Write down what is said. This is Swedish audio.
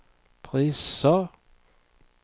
priser